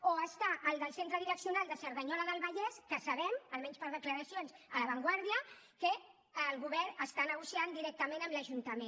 o hi ha el del centre direccional de cerdanyola del vallès que sabem almenys per declaracions a la vanguardia que el govern negocia directament amb l’ajuntament